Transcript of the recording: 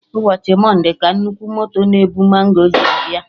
Ụbọchị monde ka nnukwu moto na-ebu mango ji abịa